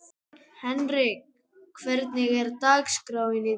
Hendrikka, hvernig er dagskráin í dag?